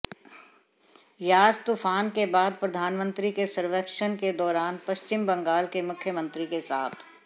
यास तूफान के बाद प्रधानमंत्री के सर्वेक्षण के दौरान पश्चिम बंगाल के मुख्यमंत्री के साथ